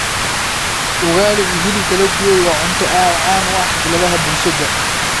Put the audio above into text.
Ugali iyo hilibka la dubay waa cunto aad caan u ah xafladaha bulshada.